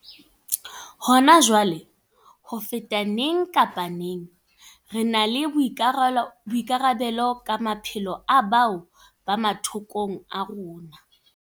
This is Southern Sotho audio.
Hona jwale, ho feta neng kapa neng, re na le boikarabelo ka maphelo a bao ba mathokong a rona.